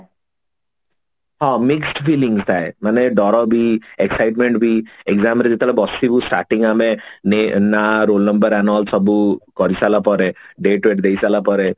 ହଁ mixed feeling ଥାଏ ମାନେ ଡର ବି excitement ବି exam ରେ ଯେତେବେଳେ ଆମେ ବସିବୁ starting ଆମେ ନେ ନା roll number all ସବୁ କରି ସାରିଲା ପରେ date ବେଟ ଦେଇ ସାରିଲା ପରେ